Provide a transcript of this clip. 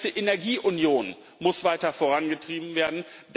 Die ganze Energieunion muss weiter vorangetrieben werden.